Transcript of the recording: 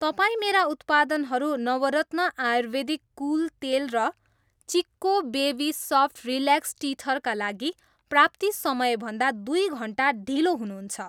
तपाईँ मेरा उत्पादनहरू नवरत्न आयुर्वेदिक कुल तेल र Chicco baby soft relax teether का लागि प्राप्ति समय भन्दा दुई घन्टा ढिलो हुनुहुन्छ।